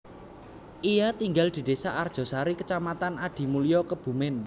Ia tinggal di desa Arjosari Kecamatan Adimulyo Kebumen